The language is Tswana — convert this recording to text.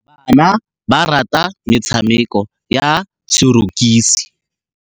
Bana ba rata metshamekô ya sorokisi.